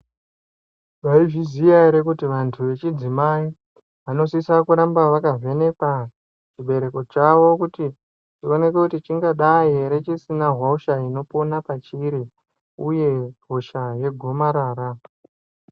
Mwaizviziya ere kuti vantu vechidzimai vanosisa kuramba vakavhenekwa chibereko chavo kuti chioneke kuti chingadai ere chisina hosha ingararama pachiri uye hosha yegomarara.